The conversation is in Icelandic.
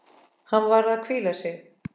Hann var að hvíla sig.